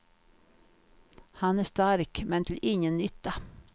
Han är stark, men till ingen nytta.